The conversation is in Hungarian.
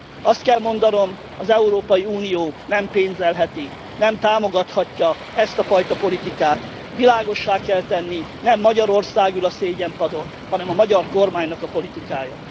Azt kell mondanom, az Európai Unió nem pénzelheti, nem támogathatja ezt a fajta politikát, világossá kell tenni, nem Magyarország ül a szégyenpadon, hanem a magyar kormánynak a politikája.